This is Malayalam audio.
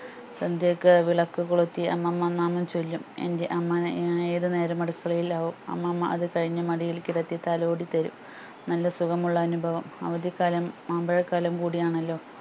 സന്ധ്യക്ക് വിളക്ക് കൊളുത്തി അമ്മമ്മ മാമം ചൊല്ലും എൻ്റെ അമ്മ ഏർ ഏതുനേരവും അടുക്കളയിൽ ആവും അമ്മാമ്മ അത് കഴിഞ്ഞ് മടിയിൽ കിടത്തി തലോടിതരും നല്ല സുഖമുള്ള അനുഭവം അവതിക്കാലം മാമ്പഴ കാലംകൂടിയാന്നെല്ലോ